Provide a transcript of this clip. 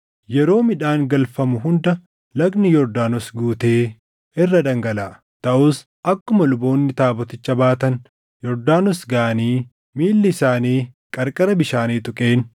Yeroo midhaan galfamu hunda lagni Yordaanos guutee irra dhangalaʼa. Taʼus akkuma luboonni taaboticha baatan Yordaanos gaʼanii miilli isaanii qarqara bishaanii tuqeen,